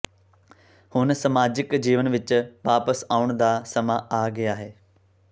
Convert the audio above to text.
ਹੁਣ ਸਮਾਜਕ ਜੀਵਨ ਵਿੱਚ ਵਾਪਸ ਆਉਣ ਦਾ ਸਮਾਂ ਆ ਗਿਆ ਹੈ